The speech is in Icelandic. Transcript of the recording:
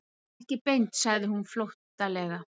Ekki beint, sagði hún flóttalega.